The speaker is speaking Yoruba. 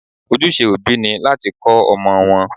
Ojúse òbí ni láti kọ́ ọmọ wọn.